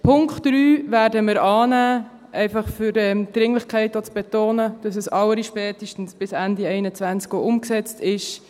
Den Punkt 3 werden wir annehmen, einfach um die Dringlichkeit auch zu betonen, dass es allerspätestens bis Ende 2021 auch umgesetzt ist.